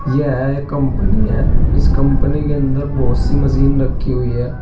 यह एक कंपनी है इस कंपनी के अंदर बहुत सी मशीन रखी हुई है।